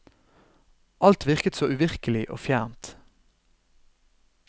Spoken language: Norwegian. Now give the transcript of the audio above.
Alt virket så uvirkelig og fjernt.